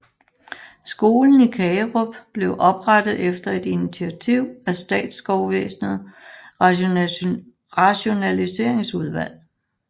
Skolen i Kagerup blev oprettet efter et initiativ af statsskovvæsenet rationalseringsudvalg